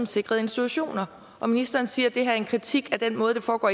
sikrede institutioner og ministeren siger at det her er en kritik af den måde det foregår